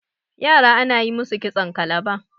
yara ana yi musu kitson kalaba